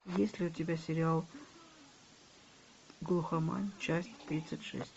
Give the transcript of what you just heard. есть ли у тебя сериал глухомань часть тридцать шесть